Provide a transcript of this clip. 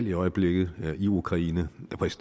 i øjeblikket i ukraine